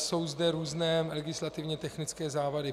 Jsou zde různé legislativně technické závady.